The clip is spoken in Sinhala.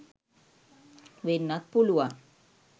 වෙන්නත් පුළුවන්